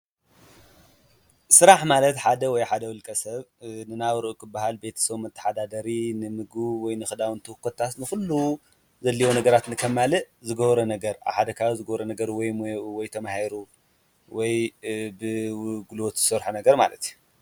ስራሕ ማለት ሓደ ወይ ሓደ ውልቀ ሰብ ንናብርኡ ክበሃል ቤተሰቡ መመሓዳደሪ፣ ንምግቡ ወይ ንኽዳውንቱ ኮታስ ንኹሉ ዘድልዮ ነገራት ንኸማልእ ዝገብሮ ነገር ኣብ ሓደ ከባቢ ዝገብሮ ነገር ወይ ሞይኡ ወይ ተማሂሩ ወይ ብጉልበቱ ዝሰርሖ ነገር ማለት እዩ፡፡